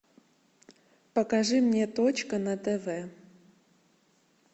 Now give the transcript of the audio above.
покажи мне точка на тв